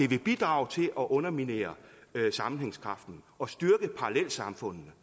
vil bidrage til at underminere sammenhængskraften og styrke parallelsamfundene